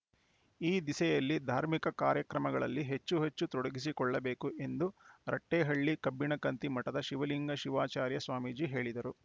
ಈ ದಿಸೆಯಲ್ಲಿ ಧಾರ್ಮಿಕ ಕಾರ್ಯಗಳಲ್ಲಿ ಹೆಚ್ಚು ಹೆಚ್ಚು ತೊಡಗಿಸಿಕೊಲ್ಳಬೇಕು ಎಂದು ರಟ್ಟೇಹಳ್ಳಿ ಕಬ್ಬಿಣಕಂಥಿ ಮಠದ ಶಿವಲಿಂಗ ಶಿವಾಚಾರ್ಯ ಸ್ವಾಮೀಜಿ ಹೇಳಿದರು